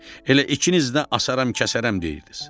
Elə ikiniz də asaram, kəsərəm deyirdiniz.